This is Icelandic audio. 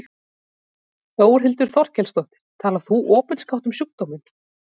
Þórhildur Þorkelsdóttir: Talar þú opinskátt um sjúkdóminn?